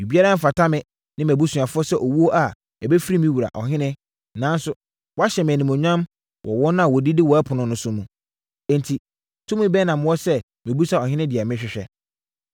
Biribiara mfata me ne mʼabusuafoɔ sɛ owuo a ɛbɛfiri me wura, ɔhene, nanso, woahyɛ me animuonyam wɔ wɔn a wɔdidi wo ɛpono so no mu. Enti, tumi bɛn na mewɔ sɛ mebisa ɔhene deɛ mehwehwɛ?”